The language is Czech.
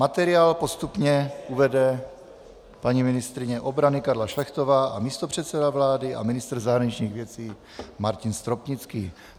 Materiál postupně uvede paní ministryně obrany Karla Šlechtová a místopředseda vlády a ministr zahraničních věcí Martin Stropnický.